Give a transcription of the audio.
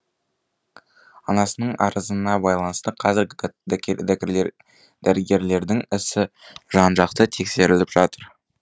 анасының арызына байланысты қазірі дәрігерлердің ісі жан жақты тексеріліп жатыр